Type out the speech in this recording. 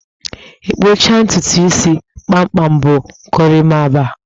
Ị kpụcha ntutu isi kpamkpam bụ gorimapa